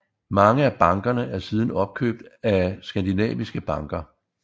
Mange af bankerne er siden opkøbt af skadinaviske banker